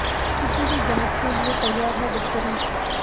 किसी भी जांच के लिए तैयार है गडकरी